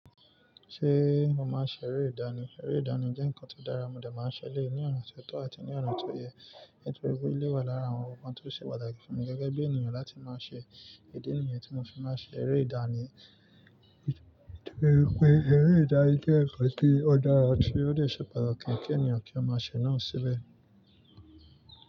Ṣé mo máa ń ṣe eré ìdánì? Eré ìdánì jẹ́ nǹkan tó dára, mo dà máa ń ṣe léè ní ọ̀nà tí o tọ́ àti ní ona tó yẹ. Nítorí pé elé wà lára àwọn nnkan tó ṣe pàtàkì fún mi gẹ́gẹ́ bí ènìyàn láti máa ṣe, idi nìyẹn tí mo fi máa ń ṣe eré ìdánì. Nítorí pé eré ìdánì jẹ́ nǹkan tí ó dára tí ó lè ṣe pàtàkì kí ènìyàn kí ó máa ṣe náà síbẹ̀.